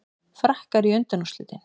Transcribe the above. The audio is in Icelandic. Frakkar í undanúrslitin